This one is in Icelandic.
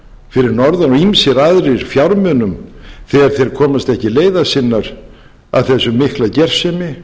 fyrir norðan og ýmsir aðrir fjármunum þegar þeir komast ekki leiðar sinnar að þessari miklu gersemi